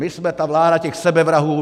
My jsme ta vláda těch sebevrahů.